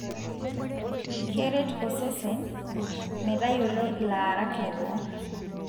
keret osesen metayiolo ilaarak leboo.